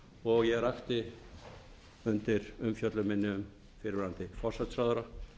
og ég rakti undir umfjöllun minni um fyrrverandi forsætisráðherra